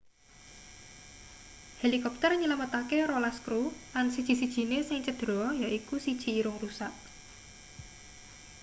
helikopter nylametake rolas kru lan siji-sijine sing cedera yaiku siji irung rusak